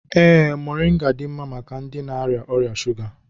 Ee, mọrịnga dị mma maka ndị na-arịa ọrịa shuga.